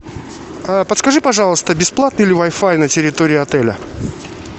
подскажи пожалуйста бесплатный ли вай фай на территории отеля